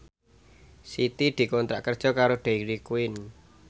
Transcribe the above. Siti dikontrak kerja karo Dairy Queen